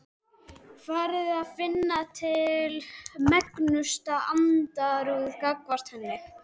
Farinn að finna til megnustu andúðar gagnvart henni.